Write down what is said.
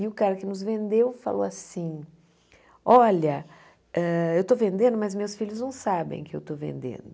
E o cara que nos vendeu falou assim, olha, hã eu estou vendendo, mas meus filhos não sabem que eu estou vendendo.